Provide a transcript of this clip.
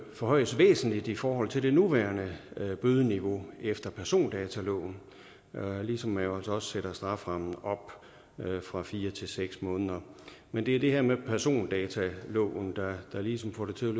forhøjes væsentligt i forhold til det nuværende bødeniveau efter persondataloven ligesom man jo sætter strafferammen op fra fire til seks måneder men det er det her med persondataloven der ligesom får det til